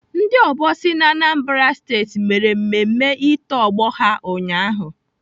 Ndị obosi na Anambra Steeti mere mmemme ito ọgbọ ha ụnyaahụ